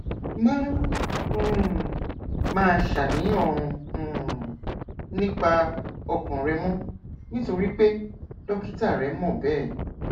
má um máa ṣàníyàn um nípa ọkàn rẹ mọ nítorí pé dókítà rẹ mọ bẹẹ